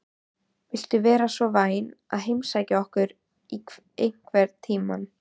Viltu vera svo vænn að heimsækja okkur einhvern tímann?